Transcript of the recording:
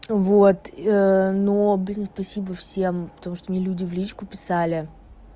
вот но блин спасибо всем потому что мне люди в личку писали